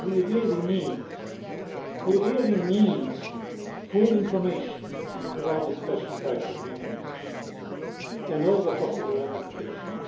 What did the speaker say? We really need full information about the special tax agreements and all the possible ramifications.